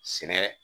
Sɛnɛ